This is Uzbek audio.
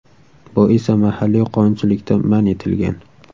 Bu esa mahalliy qonunchilikda man etilgan.